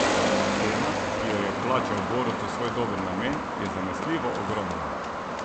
Cena, ki jo je plačal Borut za svoj dober namen, je zanesljivo ogromna.